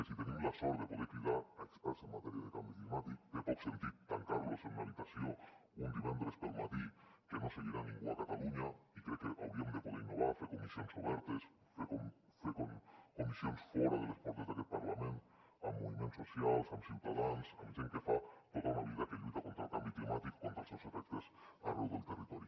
si tenim la sort de poder cridar experts en matèria de canvi climàtic té poc sentit tancar los en una habitació un divendres pel matí que no seguirà ningú a catalunya i crec que hauríem de poder innovar fer comissions obertes fer comissions fora de les portes d’aquest parlament amb moviments socials amb ciutadans amb gent que fa tota una vida que lluita contra el canvi climàtic i contra els seus efectes arreu del territori